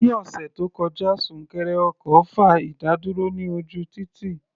Ní ọ̀sẹ̀ tó kọjá, súnkẹrẹ ọkọ̀ fa ìdádúró ní ojú títì.